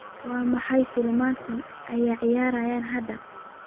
waa maxay filimada ay ciyaarayaan hadda